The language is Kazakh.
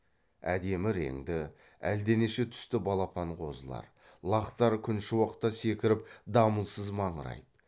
әдемі реңді әлденеше түсті балапан қозылар лақтар күншуақта секіріп дамылсыз маңырайды